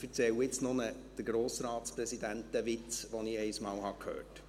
Ich erzähle jetzt noch den Grossratspräsidentenwitz, den ich einmal hörte.